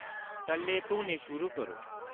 टल्ले धोने शुरू करो